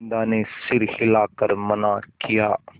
बिन्दा ने सर हिला कर मना किया